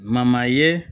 Mama ye